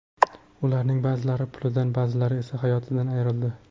Ularning ba’zilari pulidan, ba’zilari esa hayotidan ayrildi.